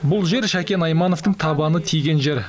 бұл жер шәкен аймановтың табаны тиген жер